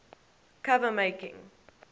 cover making